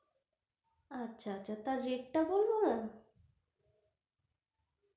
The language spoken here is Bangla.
আচ্ছা আচ্ছা তা rate টা বলবো ma'am?